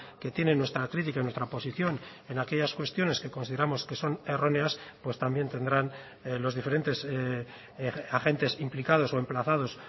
que tienen nuestra crítica nuestra posición en aquellas cuestiones que consideramos que son erróneas pues también tendrán los diferentes agentes implicados o emplazados